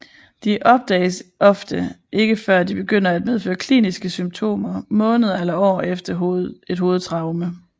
De opdages ofte ikke før de begynder at medføre kliniske symptomer måneder eller år efter et hovedtraume